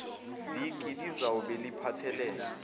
viki lizawube liphathelene